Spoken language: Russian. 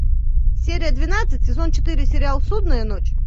серия двенадцать сезон четыре сериал судная ночь